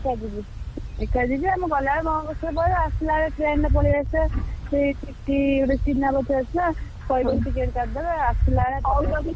ଏକା ଯିବି। ଏକା ଯିବି ଆଉ ମୁଁ ଗଲାବେଳକୁ ମୋ bus ରେ ପଳେଇବା। ଆସିଲାବେଳେ train ରେ ପଳେଇଆସିଆ। ସେଇ TTE ଗୋଟେ ଚିହ୍ନା ପରିଚୟ ଅଛି ତ କହିଦେବି ticket କାଟିଦବ। ଆସିଲାବେଳେ ।